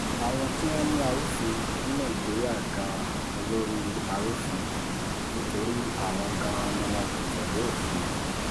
àwọn tí wọ́n ń mú arúfin ní nàìjíríà gan-an lólórí arúfin nítorí àwọn gan-an ni wọn kò tẹ̀lé òfin